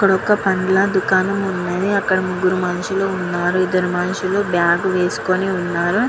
ఇక్కడ ఒక పండ్ల దుకాణం ఉన్నది. అక్కడ ముగురు మనుషుల్లు ఉన్నారు. ఇదరు మనుష్యులు బాగ్ వేసుకొని ఉన్నారు.